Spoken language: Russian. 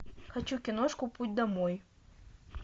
хочу киношку путь домой